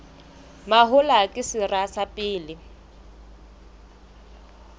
mahola ke sera sa pele